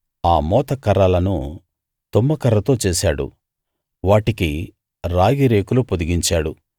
ఆ మోతకర్రలను తుమ్మకర్రతో చేశాడు వాటికి రాగిరేకులు పొదిగించాడు